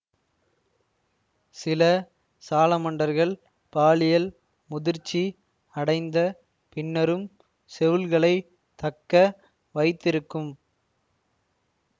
சில சாலமண்டரக்ள் பாலியல் முதிர்ச்சி அடைந்த பின்னரும் செவுள்களை தக்க வைத்திருக்கும்